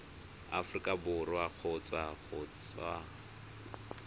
aforika borwa kgotsa go tswa